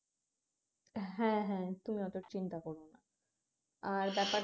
হ্যাঁ হ্যাঁ তুমি তুমি চিন্তা কর না আর ব্যাপারটা